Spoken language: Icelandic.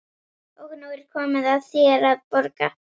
Og nú er komið að þér að borga.